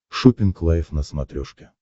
шоппинг лайф на смотрешке